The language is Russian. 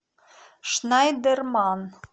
шнайдерман